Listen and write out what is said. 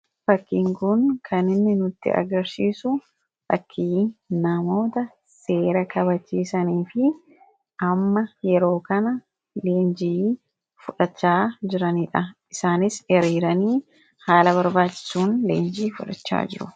Fakkiin kun kan inni nutti agarsiisu ,fakkii namoota seera kabachiisanii fi amma yeroo kana leenjii fudhachaa jiranidha. Isaanis hiriiranii haala barbaachisuun leenjii fudhachaa jiru.